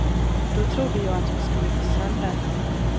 Då trodde jag hon skulle gå sönder.